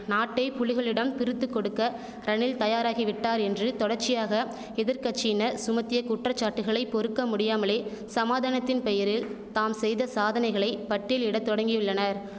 நாட்டை புலிகளிடம் பிருத்துக் கொடுக்க ரணில் தயாராகிவிட்டார் என்று தொடர்ச்சியாக எதிர்க்கட்சியின சுமத்திய குற்றச்சாட்டுக்களை பொறுக்க முடியாமலே சமாதானத்தின் பெயரில் தாம் செய்த சாதனைகளை பட்டியலிட தொடங்கியுள்ளனர்